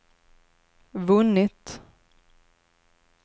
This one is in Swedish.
vunnit